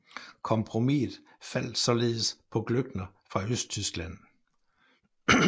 Kompromiset faldt således på Glöckner fra Østtyskland